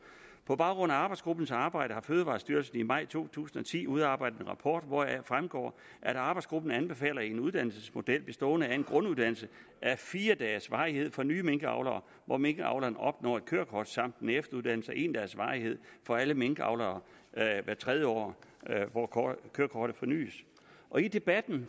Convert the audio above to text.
på baggrund af arbejdsgruppens arbejde har fødevarestyrelsen i maj to tusind og ti udarbejdet en rapport hvoraf fremgår at arbejdsgruppen anbefaler en uddannelsesmodel bestående af en grunduddannelse af fire dages varighed for nye minkavlere hvor minkavleren opnår et kørekort samt en efteruddannelse af en dags varighed for alle minkavlere hvert tredje år hvor kørekortet fornyes i debatten